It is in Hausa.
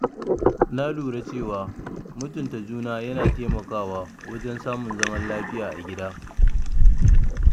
Na lura cewa mutunta juna yana taimakawa wajen samun zaman lafiya a gida.